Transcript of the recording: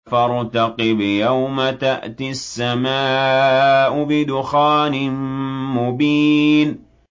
فَارْتَقِبْ يَوْمَ تَأْتِي السَّمَاءُ بِدُخَانٍ مُّبِينٍ